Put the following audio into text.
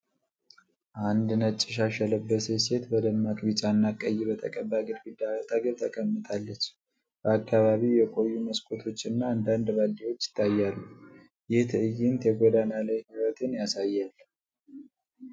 አንድ ነጭ ሻሽ የለበሰች ሴት በደማቅ ቢጫና ቀይ በተቀባ ግድግዳ አጠገብ ተቀምጣለች። በአካባቢው የቆዩ መስኮቶችና አንዳንድ ባልዲዎች ይታያሉ። ይህ ትዕይንት የጎዳና ላይ ሕይወትን ያሳያል።